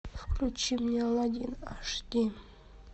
включи мне алладин аш ди